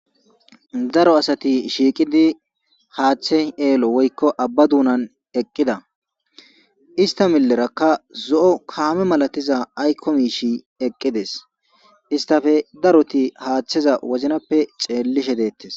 Daro asati shiiqidi haaththe eelo woykko abba duunan eqqida ista millerakka zo7o kaame malatiza aykomishi eqqides istape daroti haaththeza woznappe xeellishe deettes.